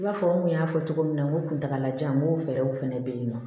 I b'a fɔ n kun y'a fɔ cogo min na n ko kuntaala janyan n ko fɛɛrɛw fɛnɛ bɛ yen nɔ